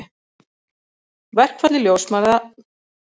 Verkfalli ljósmæðra lýkur á miðnætti.